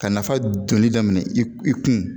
Ka nafa donni daminɛ i kun